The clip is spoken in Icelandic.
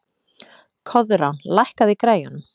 Koðrán, lækkaðu í græjunum.